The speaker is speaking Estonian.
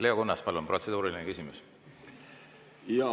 Leo Kunnas, palun, protseduuriline küsimus!